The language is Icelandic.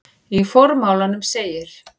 Í formálanum segir